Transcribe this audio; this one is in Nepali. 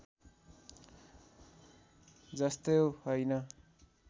जस्तो हैन